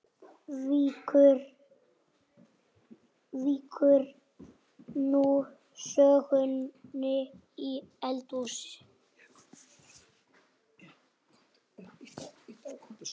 Víkur nú sögunni í eldhús.